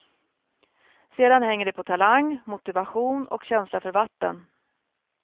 Sedan hänger det på talang, motivation och känsla för vatten.